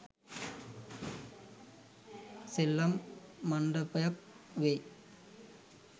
සෙල්ලම් මණ්ඩපයක් වෙයි.